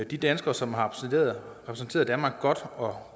de danskere som har repræsenteret danmark godt og har